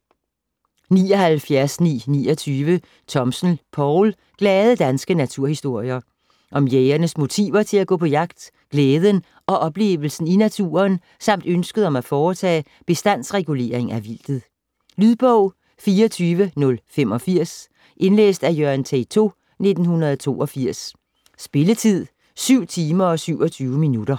79.929 Thomsen, Poul: Glade danske naturhistorier Om jægernes motiver til at gå på jagt: glæden og oplevelsen i naturen samt ønsket om at foretage bestandsregulering af vildtet. Lydbog 24085 Indlæst af Jørgen Teytaud, 1982. Spilletid: 7 timer, 27 minutter.